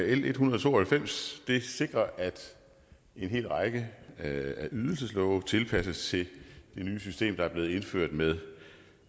l en hundrede og to og halvfems sikrer at en hel række af ydelseslove tilpasses det nye system der er blevet indført med